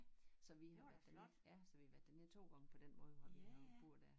Så har været dernede ja så vi har været dernede 2 gange på den måde hvor vi har boet dér